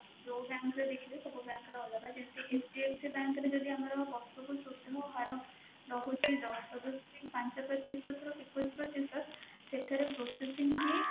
ଯୋଉ bank ର ଦେଖିବେ ସବୁ bank ର ଅଲଗା ଯେମିତି HDFC bank ରେ ଯଦି ଆମର ବର୍ଷକୁ ସୁଧ ହାର ରହୁଛି ଦଶ ଦଶମିକ ପାଞ୍ଚ ପ୍ରତିଶତ ରୁ ଏକୋଇଶ ପ୍ରତିଶତ ସେଠାରେ processing fee